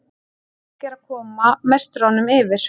Park er að koma meisturunum yfir